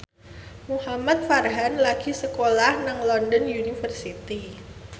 Muhamad Farhan lagi sekolah nang London University